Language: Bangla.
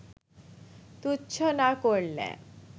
তুচ্ছ না করলে